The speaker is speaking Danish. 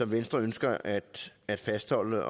venstre ønsker at at fastholde